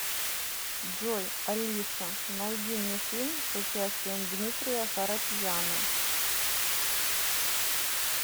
джой алиса найди мне фильм с участием дмитрия харатьяна